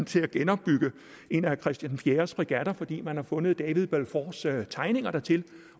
til at genopbygge en af christian den fjerdes fregatter fordi man har fundet david balfours tegninger dertil